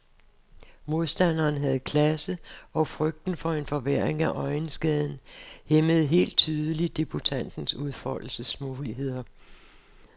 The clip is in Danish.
Modstanderen havde klasse og frygten for en forværring af øjenskaden hæmmede helt tydeligt debutantens udfoldelsesmuligheder.